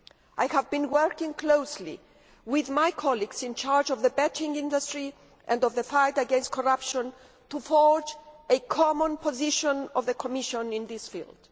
I have been working closely with my colleagues in charge of the betting industry and the fight against corruption to forge a common position of the Commission in this field.